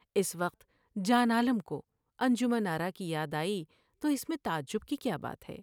اس وقت جان عالم کو انجمن آرا کی یاد آئی تو اس میں تعجب کی کیا بات ہے ۔